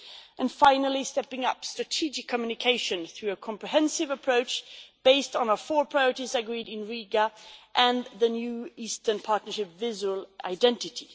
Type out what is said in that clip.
and, finally, stepping up strategic communication through a comprehensive approach based on the four priorities agreed in Riga and the new Eastern Partnership visual identity.